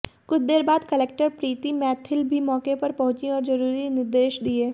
कुछ देर बाद कलेक्टर प्रीती मैथिल भी मौके पर पहुंचीं और जरुरी निर्देश दिये